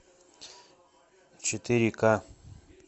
четыре ка